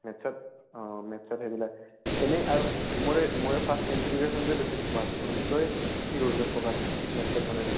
maths ত অ maths ত সেইবিলাক এনে আৰু মোৰে মোৰে এই first simplification টো বেছি focus কৰিছোঁ, তই কি কৰিছʼ focus? maths ত মানে এনে।